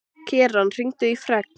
Keran, hringdu í Fregn.